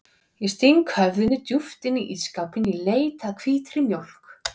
Ég sting höfðinu djúpt inn í ísskápinn í leit að hvítri mjólk.